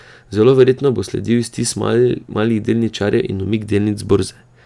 Zelo verjetno bo sledil iztis malih delničarjev in umik delnic z borze.